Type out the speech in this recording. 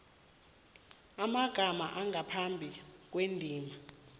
amagama angaphambi kwendima